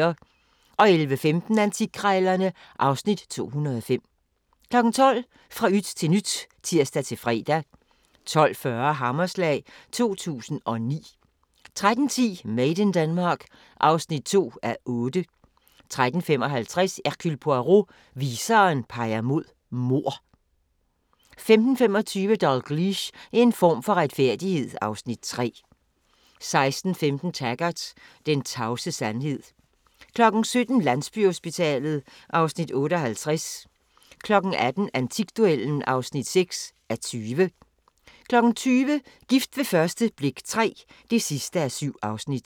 11:15: Antikkrejlerne (Afs. 205) 12:00: Fra yt til nyt (tir-fre) 12:40: Hammerslag 2009 13:10: Made in Denmark (2:8) 13:55: Hercule Poirot: Viseren peger på mord 15:25: Dalgliesh: En form for retfærdighed (Afs. 3) 16:15: Taggart: Den tavse sandhed 17:00: Landsbyhospitalet (Afs. 58) 18:00: Antikduellen (6:20) 20:00: Gift ved første blik III (7:7)